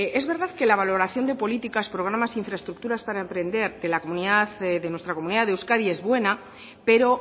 es verdad que la valoración de políticas programas infraestructuras para emprender de nuestra comunidad de euskadi es buena pero